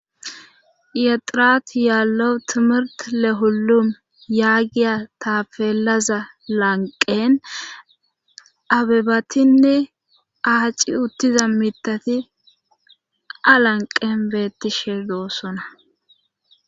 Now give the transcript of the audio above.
yexirat yaallewu timirti lehullum yaagiya taafeelaza lanqen abebatinne aaci uttiza mitati alanqen beettishe doosona